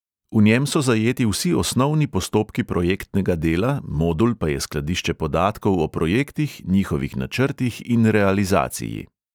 V njem so zajeti vsi osnovni postopki projektnega dela, modul pa je skladišče podatkov o projektih, njihovih načrtih in realizaciji.